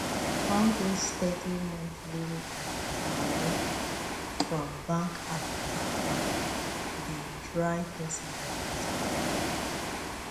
all those steady monthly money from bank app and bank dey dry person pocket well well